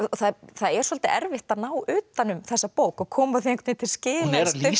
það er svolítið erfitt að ná utan um þessa bók og koma því einhvern til skila